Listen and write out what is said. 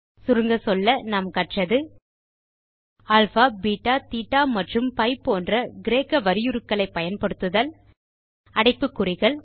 சுருங்கச் சொல்ல நாம் கற்றது அல்பா பெட்டா தேட்ட மற்றும் பி போன்ற கிரேக்க வரியுருக்களை பயன்படுத்துதல் பிராக்கெட்ஸ்